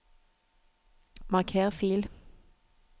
marker fil